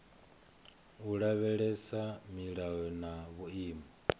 u lavhelesa milayo na vhuimo